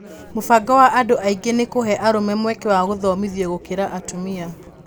Mũbango wa andũ aingĩ nĩ kũhe arũme mweke wa gũthomithio gũkĩra atumia